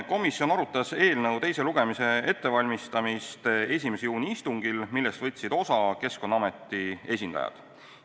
Komisjon arutas eelnõu teise lugemise ettevalmistamist 1. juuni istungil, millest võtsid osa Keskkonnaameti esindajad.